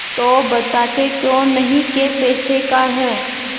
तो बताते क्यों नहीं कै पैसे का है